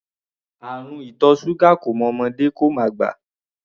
Àrùn ìtọ̀ ṣúgà kò mọ ọmọdé, kò mọ àgbà.